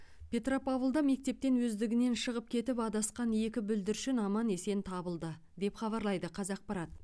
петропавлда мектептен өздігінен шығып кетіп адасқан екі бүлдіршін аман есен табылды деп хабарлайды қазақпарат